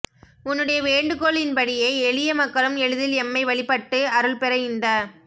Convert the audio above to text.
உன்னுடைய வேண்டுகோளின்படியே எளிய மக்களும் எளிதில் எம்மை வழிபட்டு அருள்பெற இந்த